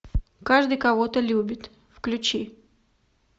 каждый кого то любит включи